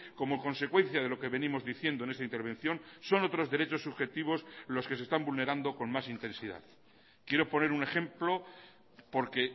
como consecuencia de lo que venimos diciendo en esta intervención son otros derechos subjetivos los que se están vulnerando con más intensidad quiero poner un ejemplo porque